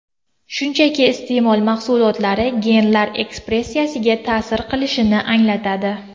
Shunchaki, iste’mol mahsulotlari genlar ekspressiyasiga ta’sir qilishini anglatadi.